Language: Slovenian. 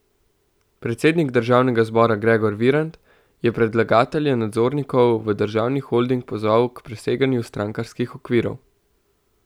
Predsednik državnega zbora Gregor Virant je predlagatelje nadzornikov v državni holding pozval k preseganju strankarskih okvirov.